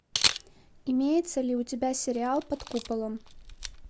имеется ли у тебя сериал под куполом